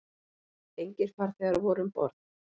Engir farþegar voru um borð